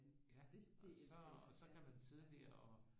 Det det elsker jeg ja